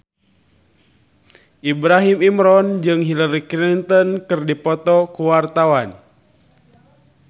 Ibrahim Imran jeung Hillary Clinton keur dipoto ku wartawan